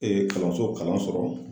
kalanso kalan sɔrɔ